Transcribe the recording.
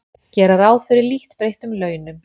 Gera ráð fyrir lítt breyttum launum